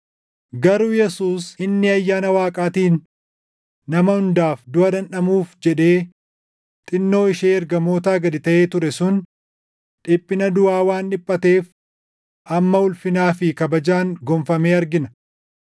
Garuu Yesuus inni ayyaana Waaqaatiin nama hundaaf duʼa dhandhamuuf jedhee xinnoo ishee ergamootaa gad taʼee ture sun dhiphina duʼaa waan dhiphateef amma ulfinaa fi kabajaan gonfamee argina.